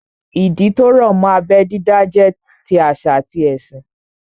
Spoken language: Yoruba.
Ìdí tó rọ̀ mọ́ abẹ́ dídá jẹ́ ti àṣà àti ẹ̀sìn